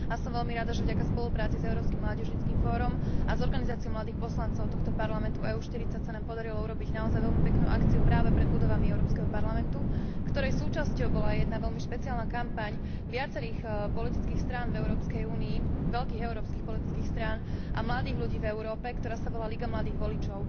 Som veľmi rada, že vďaka spolupráci s Európskym mládežníckym fórom a s organizáciou mladých poslancov tohto Parlamentu EÚ 40 sa nám podarilo urobiť naozaj veľmi peknú akciu práve pred budovami Európskeho parlamentu, ktorej súčasťou bola aj jedna veľmi špeciálna kampaň viacerých politických strán v Európskej únii, veľkých európskych politických strán a mladých ľudí v Európe, ktorá sa volá Liga mladých voličov.